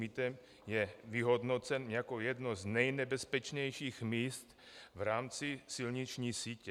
Mýtem je vyhodnocen jako jedno z nejnebezpečnějších míst v rámci silniční sítě.